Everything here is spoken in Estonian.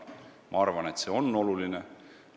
Ma arvan, et see on oluline.